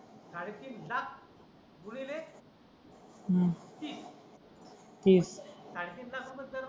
साडेतीन लाख रुपये गुणीले साडेतीन लाख रुपये